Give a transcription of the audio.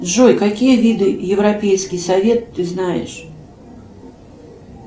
джой какие виды европейский совет ты знаешь